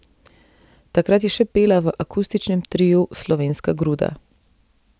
Takrat je še pela v akustičnem triu Slovenska gruda.